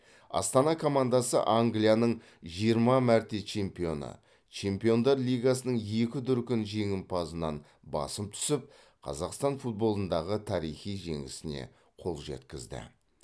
астана командасы англияның жиырма мәрте чемпионы чемпиондар лигасының екі дүркін жеңімпазынан басым түсіп қазақстан футболындағы тарихи жеңісіне қол жеткізді